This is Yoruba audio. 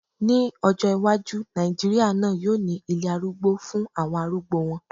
Ní ọjọ́ iwájú, Nàìjíríà náà yóò ní ilé arúgbó fún àwọn arúgbó wọn